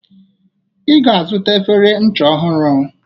Ị ga-azụta efere ncha ọhụrụ.